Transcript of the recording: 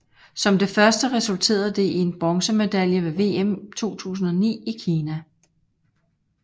Som det første resulterede det i en bronzemedalje ved VM 2009 i Kina